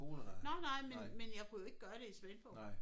Nåh nej men men jeg kunne jo ikke gøre det i Svendborg